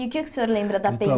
E o que o senhor lembra da